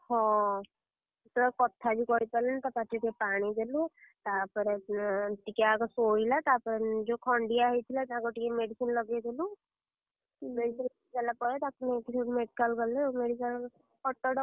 ହଁ, ସେ ତ ଆଉ କଥା ବି କହିପାରିଲାଣି ତା ପାଟିରେ ଟିକେ ପାଣି ଦେଲୁ, ତା ପରେ ଏଁ ଟିକେ ଆଗ ଶୋଇଲା ତା ପରେ ଯୋଉ ଖଣ୍ଡିଆ ହେଇଥିଲା ତାକୁ ଟିକେ medicine ଲଗେଇ ଦେଲୁ, medicine ଲଗେଇଲା ପରେ ତାକୁ ନେଇକି ସେଇଠୁ medical ଗଲେ ଆଉ medical auto ଡକେଇଲେ।